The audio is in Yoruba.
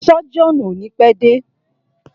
Sọ́jíọ̀nù o ni pẹ́ dé.